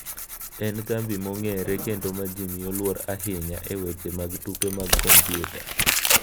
En kambi mong’ere kendo ma ji miyo luor ahinya e weche mag tuke mag kompyuta.